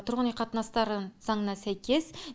тұрғын үй қатынастары заңына сәйкес